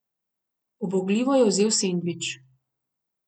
Ubogljivo je vzel sendvič.